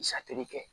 Satoli kɛ